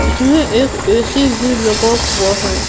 इसमें एक ए_सी भी लगा हुआ है।